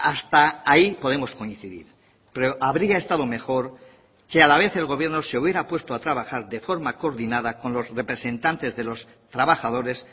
hasta ahí podemos coincidir pero habría estado mejor que a la vez el gobierno se hubiera puesto a trabajar de forma coordinada con los representantes de los trabajadores